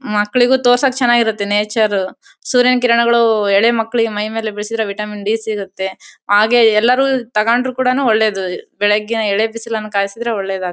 ಮಕ್ಕಳಿಗೂ ತೋರ್ಸಕ್ಕೆ ಚೆನ್ನಾಗಿ ಇರುತ್ತೆ ನೇಚರ್ ಸೂರ್ಯನ ಕಿರಣಗಳು ಎಳೆ ಮಕ್ಕಳಿಗೆ ಮೈ ಮೇಲೆ ಬೀಳ್ಸಿದ್ರೆ ವಿಟಮಿನ್ ಡಿ ಸಿಗುತ್ತೆ ಹಾಗೆ ಎಲ್ಲರು ತಗೊಂಡ್ರು ಕೂಡ ಒಳ್ಳೆದ್ ಬೆಳ್ಳಗಿನ ಎಳೆ ಬಿಸಿಲಿನಲ್ಲಿ ಕಾಹಿಸಿದ್ರೆ ಒಳ್ಳೇದ್ ಆಗ್ತತ್ತಿ.